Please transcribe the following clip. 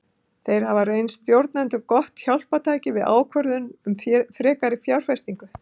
Þeir hafa reynst stjórnendum gott hjálpartæki við ákvörðun um frekari fjárfestingu.